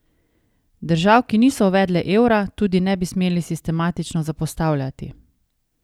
Držav, ki niso uvedle evra, tudi ne bi smeli sistematično zapostavljati.